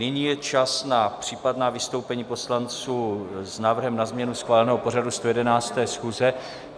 Nyní je čas na případná vystoupení poslanců s návrhem na změnu schváleného pořadu 111. schůze.